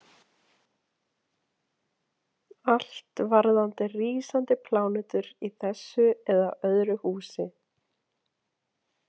Allt varðandi rísandi plánetur í þessu eða öðru húsi.